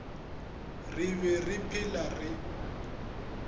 re be re phela re